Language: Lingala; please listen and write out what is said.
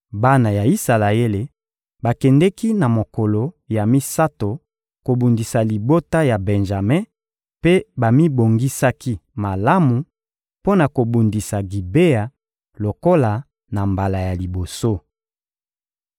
Bana ya Isalaele bakendeki na mokolo ya misato kobundisa libota ya Benjame mpe bamibongisaki malamu mpo na kobundisa Gibea lokola na mbala ya liboso.